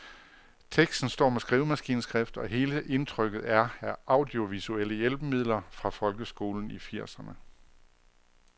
Teksten står med skrivemaskineskrift, og hele indtrykket er af audiovisuelle hjælpemidler fra folkeskolen i firserne.